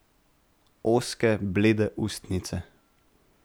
Ozke, blede ustnice.